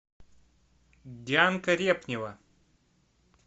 дианка репнева